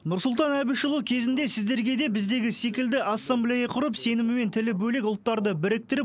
нұрсұлтан әбішұлы кезінде сіздерге де біздегі секілді ассамблея құрып сенімі мен тілі бөлек ұлттарды біріктіріп